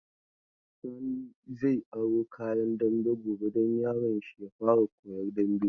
Sani zai aro kayan dambe gobe don yaron shi ya fara koyan damben.